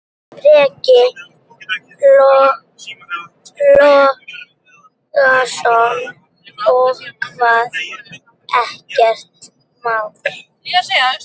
Breki Logason: Og hvað, ekkert mál?